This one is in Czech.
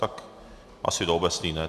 Tak asi do obecné, ne?